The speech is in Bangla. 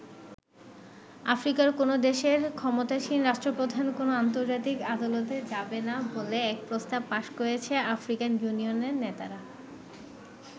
আফ্রিকার কোন দেশের ক্ষমতাসীন রাষ্ট্রপ্রধান কোন আন্তর্জাতিক আদালতে যাবেনা বলে এক প্রস্তাব পাশ করেছে আফ্রিকান ইউনিয়নের নেতারা।